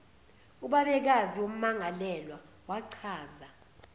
ubabekazi wommangalelwa wachaza